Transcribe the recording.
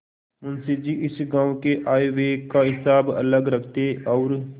मुंशी जी इस गॉँव के आयव्यय का हिसाब अलग रखते और